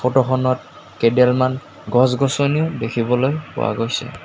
Photo খনত কেইডালমান গছ-গছনিও দেখিবলৈ পোৱা গৈছে।